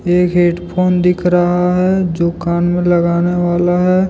एक headphone दिख रहा है जो कान मे लगाने वाला है।